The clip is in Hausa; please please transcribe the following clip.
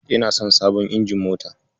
Ina son abon injin mota.